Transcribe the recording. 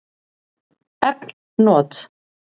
Efn not